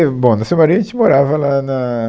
E bom, na sua maioria a gente morava lá na